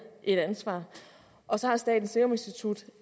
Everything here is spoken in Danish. et ansvar og så har statens serum institut